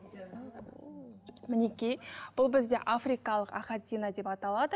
мінекей бұл бізде африкалық ахатино деп аталады